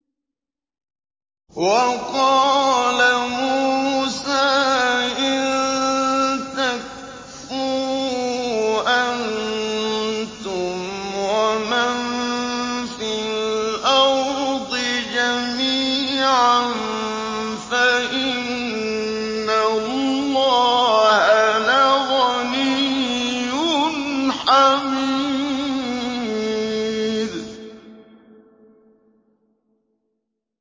وَقَالَ مُوسَىٰ إِن تَكْفُرُوا أَنتُمْ وَمَن فِي الْأَرْضِ جَمِيعًا فَإِنَّ اللَّهَ لَغَنِيٌّ حَمِيدٌ